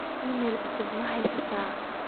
iimayl cusub maan heystaa